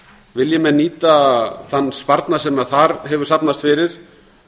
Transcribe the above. vilji menn nýta þann sparnað sem þar hefur safnast fyrir